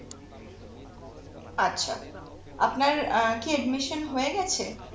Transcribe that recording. আচ্ছা আপনার আহ কি admission হয়ে গেছে